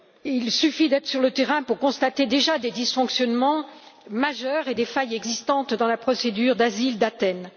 Il suffit d'être sur le terrain pour constater déjà des dysfonctionnements majeurs et des failles dans la procédure d'asile d'Athènes.